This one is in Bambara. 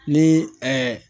Ni